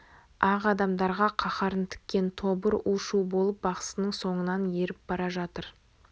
ақ адамдарға қаһарын тіккен тобыр у-шу болып бақсының соңынан еріп бара жатыр